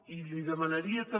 i li demanaria també